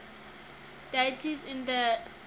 deities in the iliad